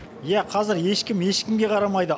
иә қазір ешкім ешкімге қарамайды